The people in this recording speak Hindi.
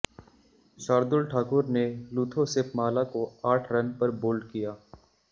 शारदुल ठाकुर ने लुथो सिपमाला को आठ रन पर बोल्ड किया